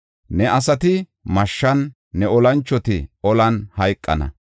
Ne asati mashshan, ne olanchoti olan hayqana.